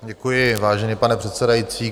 Děkuji, vážený pane předsedající.